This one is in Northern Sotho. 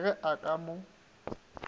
re ge a ka mo